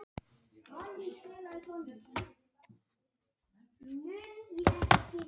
En heimurinn stóð ekki og féll með málverkum og heimilisköttum.